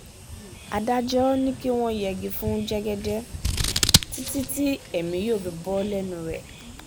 adájọ́ ni kí wọ́n yẹgi fún jẹ́gẹ́dẹ́ títí tí èmi yóò fi bò lẹ́nu rẹ̀